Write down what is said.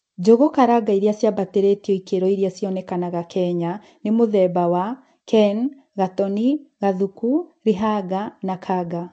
Njugu karanga iria cīambatīrītio ikiro iria cionekanaga Kenya nimutheba wa KEN ,gatoni, Gathuku, Līhanga na Kanga.